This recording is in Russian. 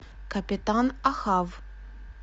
капитан охав